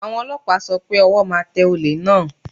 Àwọn Ọlọ́pàá sọ pé ọwọ́ máa tẹ olè náà.